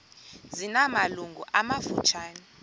zina malungu amafutshane